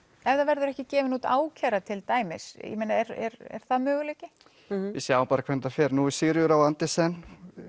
ef það verður ekki gefin út ákæra til dæmis er er er það möguleiki við sjáum bara hvernig fer nú hefur Sigríður á Andersen